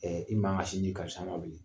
Ɛɛ i man ka sin di karisa ma bi